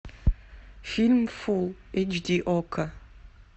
фильм фулл эйч ди окко